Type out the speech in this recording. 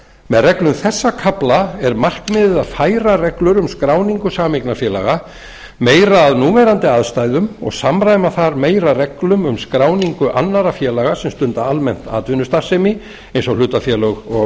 með reglum þessa kafla er markmiðið að færa reglur um skráningu sameignarfélaga meira að núverandi aðstæðum og samræma þær meira reglum um skráningu annarra félaga sem stunda almennt atvinnustarfsemi eins og hlutafélög og